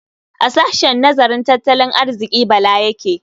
A sahshen nazarin tattalin arziƙi Bala yake yi.